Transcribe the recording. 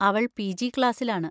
അവൾ പിജി ക്ലാസ്സിൽ ആണ്.